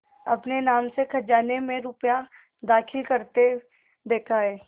अपने नाम से खजाने में रुपया दाखिल करते देखा है